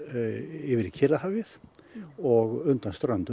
yfir í Kyrrahafið og undan ströndum